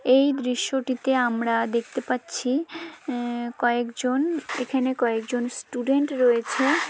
এই দৃশ্যটিতে আমরা দেখতে পাচ্ছি উম কয়েকজন এখানে কয়েকজন স্টুডেন্ট রয়েছে ।